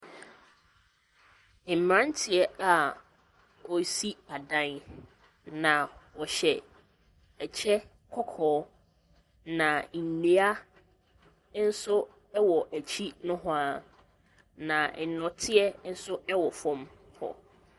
Mmeranteɛ a wɔresi adan, na wɔhyɛ kyɛ kɔkɔɔ, na nnua nso wɔ akyi nohoa, na nnɔteɛ nso wɔ fam hɔ.